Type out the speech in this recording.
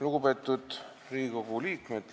Lugupeetud Riigikogu liikmed!